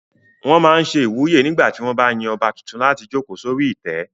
Wọ́n máa n ṣe ìwúyè nígbà tí wọ́n bá yan ọba tuntun láti jòkó sórí ìtẹ́